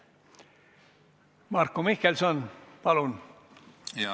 Marko Mihkelson, palun!